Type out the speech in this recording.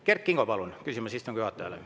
Kert Kingo, palun, küsimus istungi juhatajale!